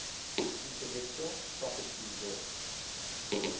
intellectual property law